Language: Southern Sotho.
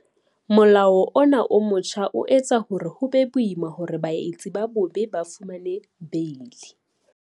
Molao ona o motjha o etsa hore ho be boima hore baetsi ba bobe ba fumane beili.